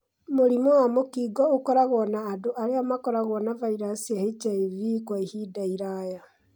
Mũrimũ wa mũkingo ũkoragwo na andũ arĩa makoragwo na virus cia HIV kwa ihinda iraya